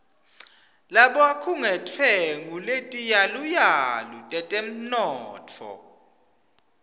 labakhungetfwe nguletiyaluyalu tetemnotfo